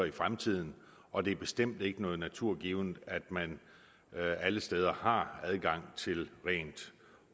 i fremtiden og det er bestemt ikke noget naturgivent at man alle steder har adgang til rent